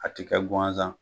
A ti kɛ ŋanzan